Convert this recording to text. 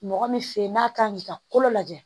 Mɔgɔ min fe yen n'a kan k'i ka kolo lajɛ